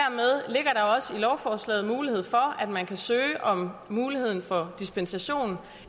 også i lovforslaget mulighed for at man kan søge om muligheden for dispensation